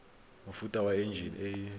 mofuta wa enjine e e